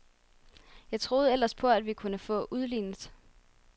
Jeg troede ellers på, at vi kunne få udlignet.